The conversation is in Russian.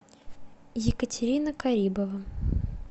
екатерина карибова